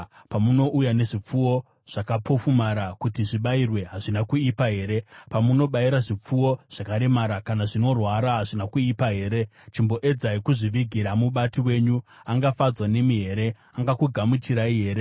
Pamunouya nezvipfuwo zvakapofumara kuti zvibayirwe, hazvina kuipa here? Pamunobayira zvipfuwo zvakaremara kana zvinorwara, hazvina kuipa here? Chimboedzai kuzvivigira mubati wenyu! Angafadzwa nemi here? Angakugamuchirai here?”